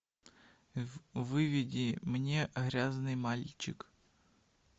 выведи мне грязный мальчик